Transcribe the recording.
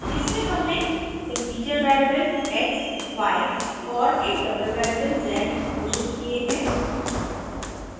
इसमें हमने integer variable x y और एक double variable z घोषित किये हैं